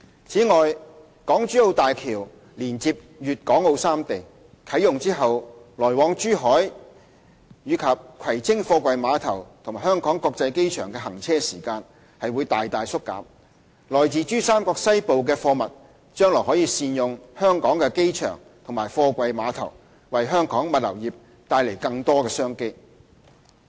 此外，港珠澳大橋連接粵港澳三地，啟用後來往珠海至葵青貨櫃碼頭和香港國際機場的行車時間大大縮減，來自珠三角西部的貨物將來可善用香港的機場和貨櫃碼頭，為香港物流業帶來更多商機。